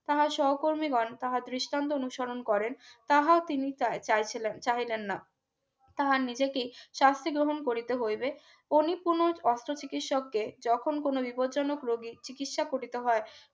তাহার সহকর্মীগণ তাহার দৃষ্টান্ত অনুসরণ করেন তাহা তিনি চাই চাইছিলেন চাইলেন না। তাহা নিজেকেই শাস্তি বহুল করতে হইবে কোনই পূর্ণ অস্ত্র চিকিৎসকদের যখন কোন বিপজ্জনক রোগীর চিকিৎসা করিতে হয়